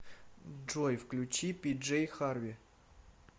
джой включи пиджей харви